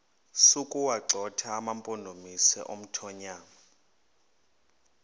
sokuwagxotha amampondomise omthonvama